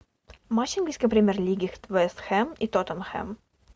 матч английской премьер лиги вест хэм и тоттенхэм